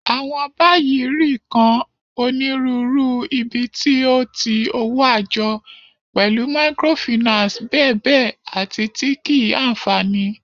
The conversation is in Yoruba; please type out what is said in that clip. Awọn bayi ri kan Oniruuru ibiti o ti owo ajo, pẹlu microfinance bèbe ati ti kii-anfani.